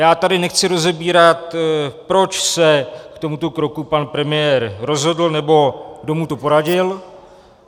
Já tady nechci rozebírat, proč se k tomuto kroku pan premiér rozhodl nebo kdo mu to poradil.